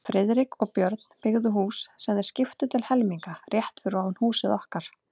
Friðrik og Björn, byggðu hús, sem þeir skiptu til helminga, rétt fyrir ofan húsið okkar.